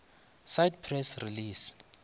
cite press release